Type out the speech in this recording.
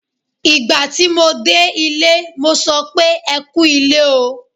Ìgbà tí mo dé ilé, mo sọ pé "ẹ kú ilé o".